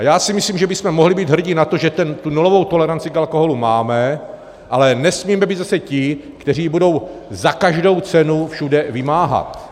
A já si myslím, že bychom mohli být hrdí na to, že tu nulovou toleranci k alkoholu máme, ale nesmíme být zase ti, kteří ji budou za každou cenu všude vymáhat.